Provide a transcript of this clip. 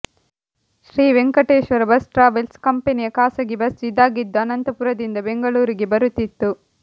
Shri Venkateshwara bus travels ಕಂಪನಿಯ ಖಾಸಗಿ bus ಇದಾಗಿದ್ದು ಅನಂತಪುರದಿಂದ ಬೆಂಗಳೂರಿಗೆ ಬರುತ್ತಿತ್ತು